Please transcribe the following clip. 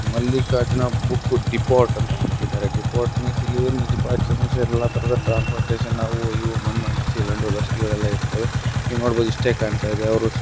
Mallikarjuna book depot ಅಂತ ಹಾಕಿದರೆ depot means ಇಲ್ಲಿ ಏನ್ ಎಲ್ಲ ತರಹದ ಟ್ರಾನ್ಸ್ಪೋರ್ಟ್ಯೇಷನ್ ಅವು ಇವು ಮಣ್ಣು ಮಸಿ ಲಡ್ಡು ಲಸಕಿಗಳೆಲ್ಲ ಇರ್ತವೆ ನೀವ್ ನೋಡಬೋದು ಇಷ್ಟೆ ಕಾಣ್ತಾ ಇದೆ ಅವ್ರು ಒನ್ಸಲ --